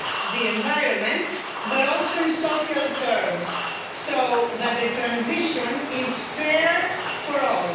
the environment, but also in social terms, so that the transition is fair for all.